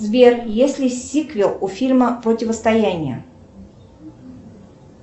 сбер есть ли сиквел у фильма противостояние